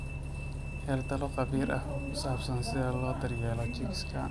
Hel talo khabiir ah oo ku saabsan sida loo daryeelo chicks.